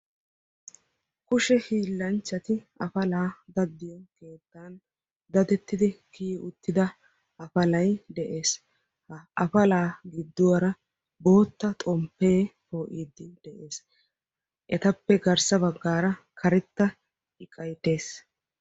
Kushe hiillanchchati afalaa daddiyo keettan dadettidi kiyi uttida afalay de'ees. Ha afalaa gidduwaara bootta xomppee poo'iiddi de'ees. Etappe garssa baggaara karetta iqay dees.